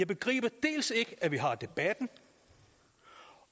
begriber at vi har debatten og